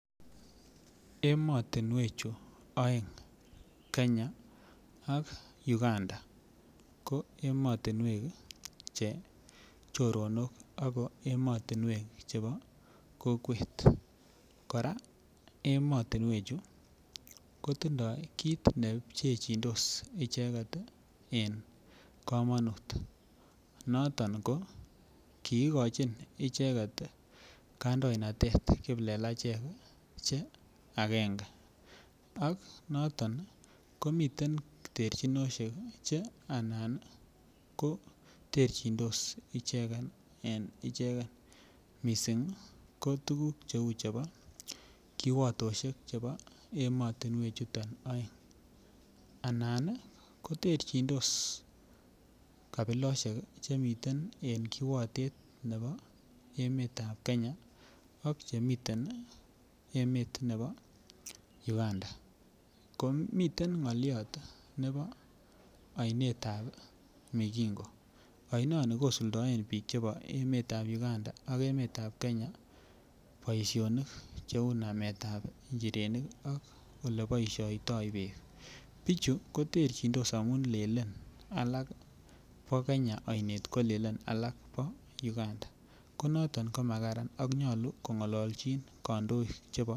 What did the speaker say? Emotinwechu oeng kenya ak uganda ko emotinwek che choronok ako emotinwek chebo kokwet koraa emotinwechu kotindo kit ne pchechidos icheget nebo komonut, noton ko kiigochin icheget ii kondoindet kiplelachek ii che angenge ak noton komiten terchinoshek che anan ko terchindos ichegen en ichegen missing ko tuguk che uu kiwotoshek chebo emotinwek chuton oeng anan ii koterjindos kbiloshek chemiten en kiwotet nemii en emetab kenya ak chemiten ii emet nebo uganda komiten ngoliot nebo oinetab migingo, oinoni kosuldaen biikab emetab Uganda ak biikab emetab kenya boisionik che uu nametab njirenik ak ole boisioto biik. Bichu koterjindos amun lelen alak bo kenya oinetbko lelen alak bo uganda ko noton koma karan ak nyolu kongolojin kondoik chebo